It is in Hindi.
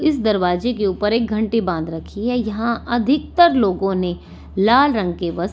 इस दरवाजे के ऊपर एक घंटी बांध रखी है यहां अधिकतर लोगों ने लाल रंग के वस्त्र--